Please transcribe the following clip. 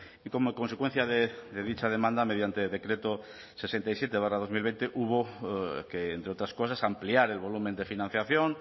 y como consecuencia de dicha demanda mediante decreto sesenta y siete barra dos mil veinte hubo que entre otras cosas ampliar el volumen de financiación